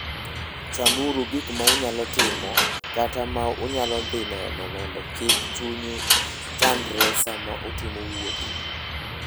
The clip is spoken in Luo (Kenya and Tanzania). Chanuru gik ma unyalo timo kata ma unyalo dhi neno mondo kik chunyu chandre sama utimo wuoth.